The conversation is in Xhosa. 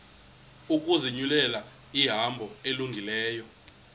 ukuzinyulela ihambo elungileyo